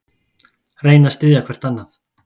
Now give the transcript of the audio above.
Reyna að styðja hvert annað